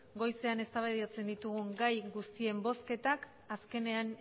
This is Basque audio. goizean eztabaidatzen ditugun gai guztien bozketak azkenean